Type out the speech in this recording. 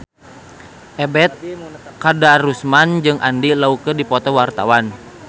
Ebet Kadarusman jeung Andy Lau keur dipoto ku wartawan